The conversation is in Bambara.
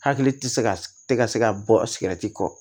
Hakili ti se ka tɛ ka se ka bɔ sigɛrɛti kɔ